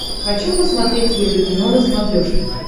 хочу посмотреть еврокино на смотрешке